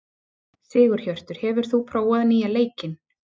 Sigurhjörtur, hefur þú prófað nýja leikinn?